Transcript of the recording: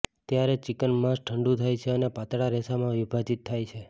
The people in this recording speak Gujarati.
તૈયાર ચિકન માંસ ઠંડુ થાય છે અને પાતળા રેસામાં વિભાજિત થાય છે